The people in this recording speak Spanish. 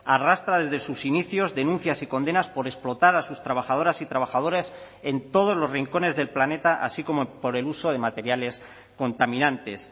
arrastra desde sus inicios denuncias y condenas por explotar a sus trabajadoras y trabajadores en todos los rincones del planeta así como por el uso de materiales contaminantes